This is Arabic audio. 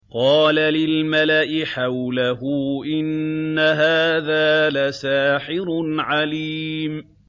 قَالَ لِلْمَلَإِ حَوْلَهُ إِنَّ هَٰذَا لَسَاحِرٌ عَلِيمٌ